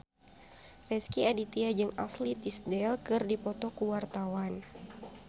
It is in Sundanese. Rezky Aditya jeung Ashley Tisdale keur dipoto ku wartawan